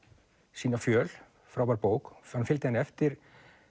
sína fjöl frábær bók hann fylgdi henni eftir